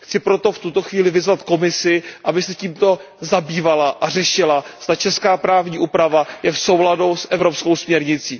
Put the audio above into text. Chci proto v tuto chvíli vyzvat Komisi, aby se tímto zabývala a řešila, zda česká právní úprava je v souladu s evropskou směrnicí.